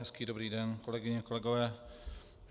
Hezký dobrý den, kolegyně, kolegové.